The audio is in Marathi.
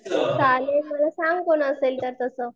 चालेल सांग कोण असेल तर तस.